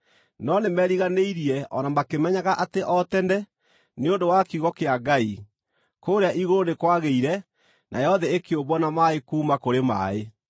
No nĩmeriganĩirie o na makĩmenyaga atĩ o tene, nĩ ũndũ wa kiugo kĩa Ngai, kũũrĩa igũrũ nĩ kwagĩire, nayo thĩ ĩkĩũmbwo na maaĩ kuuma kũrĩ maaĩ.